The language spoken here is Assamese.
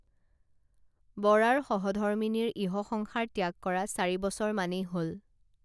বৰাৰ সহধৰ্মীনিৰ ইহসংসাৰ ত্যাগ কৰা চাৰি বছৰ মানেই হল